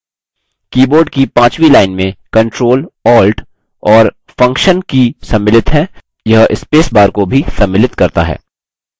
keyboard की पांचवी line में ctrl alt और function की सम्मिलित हैं यह space bar को भी सम्मिलित करता है